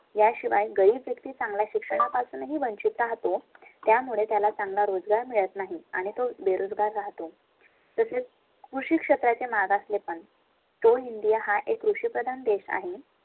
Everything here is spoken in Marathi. . याशिवाय गरीब व्यक्ती चांगल्या शिक्षणा पासून ही वंचित राहतो. त्यामुळे त्याला चांगला रोजगार मिळत नाही आणि तो बेरोजगार राहतो. तसेच कृषी क्षेत्राचे मागासले. पण तो india हा एक कृषि प्रधान देश आहे